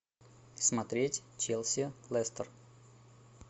смотреть челси лестер